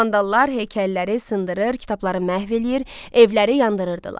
Vandallar heykəlləri sındırır, kitabları məhv eləyir, evləri yandırırdılar.